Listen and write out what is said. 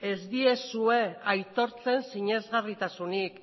ez diezue aitortzen sinesgarritasunik